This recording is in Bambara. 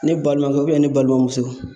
Ne balimakɛ ne balimamuso